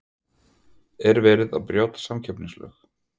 En er verið að brjóta samkeppnislög?